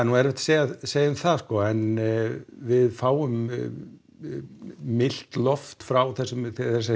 erfitt að segja að segja það en við fáum milt loft frá þessari